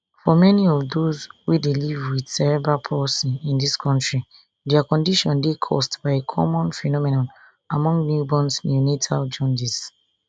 for many of those wey dey live wit cerebral palsy in di kontri dia condition dey caused by a common phenomenon among newborns neonatal jaundice